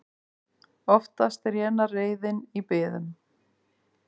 Oftast rénar reiðin í biðum.